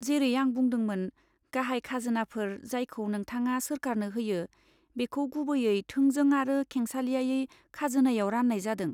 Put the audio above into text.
जेरै आं बुंदोंमोन, गाहाय खाजोनाफोर जायखौ नोंथाङा सोरखारनो होयो, बेखौ गुबैयै थोंजों आरो खेंसालियायै खाजोनायाव रान्नाय जादों।